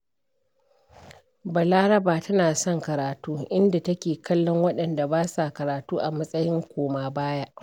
Balaraba tana son karatu, inda take kallon waɗanda ba sa karatu a matsayin koma-baya.